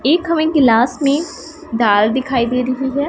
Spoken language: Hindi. एक हमें गिलास में धार दिखाई दे रही है।